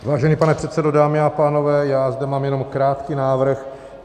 Vážený pane předsedo, dámy a pánové, já zde mám jenom krátký návrh.